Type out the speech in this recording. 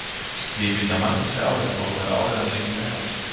Því fylgja margvísleg álitamál og er áreiðanleikinn veigamestur.